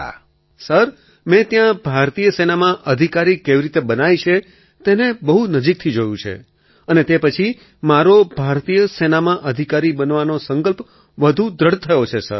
અખિલ sir મેં ત્યાં ભારતીય સેનામાં અધિકારી કેવી રીતે બનાય છે તેને બહુ નજીકથી જોયું છે અને તે પછી મારો ભારતીય સેનામાં અધિકારી બનવાનો સંકલ્પ વધુ દૃઢ થયો છે સર